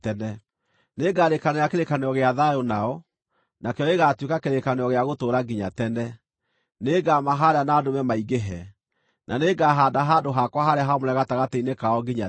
Nĩngarĩĩkanĩra kĩrĩkanĩro gĩa thayũ nao; nakĩo gĩgaatuĩka kĩrĩkanĩro gĩa gũtũũra nginya tene. Nĩngamahaanda na ndũme maingĩhe, na nĩngahaanda handũ-hakwa-harĩa-haamũre gatagatĩ-inĩ kao nginya tene.